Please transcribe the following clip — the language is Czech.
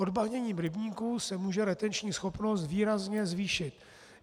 Odbahněním rybníků se může retenční schopnost výrazně zvýšit.